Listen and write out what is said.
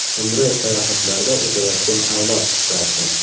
Umri sayohatlarda o‘tayotgan avlod qissasi.